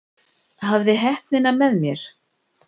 Hafði heppnina með mér